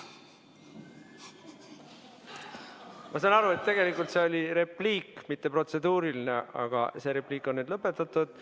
Ma saan aru, et see oli repliik, mitte protseduuriline, aga see repliik on lõpetatud.